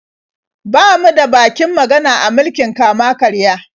Ba mu da bakin magana a mulkin kama-karya.